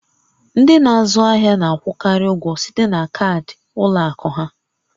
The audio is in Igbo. Ndị n'azụ ahịa na-akwụkarị ụgwọ site na kaadị ụlọ akụ ha